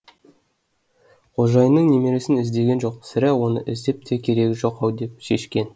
қожайынның немересін іздеген жоқ сірә соны іздеп те керегі жоқ ау деп шешкен